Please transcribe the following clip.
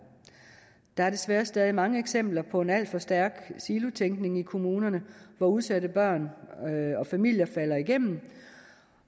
der er desværre stadig mange eksempler på en alt for stærk silotænkning i kommunerne hvor udsatte børn og familier falder igennem